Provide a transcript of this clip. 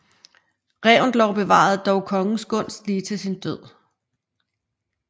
Reventlow bevarede dog kongens gunst lige til sin død